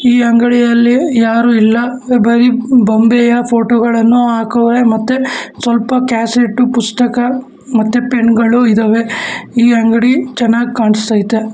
ಈ ಅಂಗಡಿಯಲ್ಲಿ ಯಾರು ಇಲ್ಲ ಬರಿ ಬೊಂಬೆಯ ಫೋಟೋ ಗಳನ್ನು ಹಾಕವ್ರೆ ಮತ್ತೆ ಸ್ವಲ್ಪ ಕ್ಯಾಸೆಟ್ ಪುಸ್ತಕ ಮತ್ತೆ ಪೆನ್ನುಗಳು ಇದಾವೆ ಈ ಅಂಗಡಿ ಚೆನ್ನಾಗ್ ಕಾಣಿಸ್ತಾ ಐತೆ.